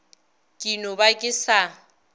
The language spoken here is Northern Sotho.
ke no ba ke sa